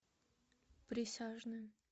присяжные